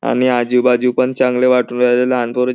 आणि आजूबाजू पण चांगलं वाटून राहिलेलं लहान पोरं--